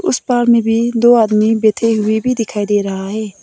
इस पार्क में भी दो आदमी बैठे हुए दिखाई दे रहा है।